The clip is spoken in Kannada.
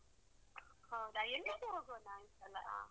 ಹೌದಾ ಎಲ್ಲಿಗೆ ಹೋಗೋಣ ಈ ಸಲ?